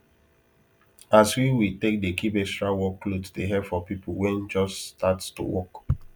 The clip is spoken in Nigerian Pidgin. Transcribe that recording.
as we we tak dey keep extra work cloth dey help for people wen just start to work